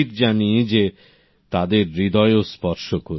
আমি নিশ্চিত জানি যে তাদের ও হৃদয় স্পর্শ করবে